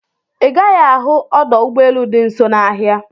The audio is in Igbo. Ị gaghị ahụ ọdọ ụgbọelu dị nso n'ahia